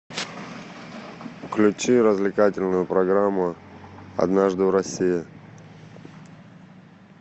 включи развлекательную программу однажды в россии